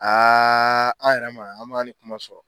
an yɛrɛ ma ye an m'ani kuma sɔrɔ.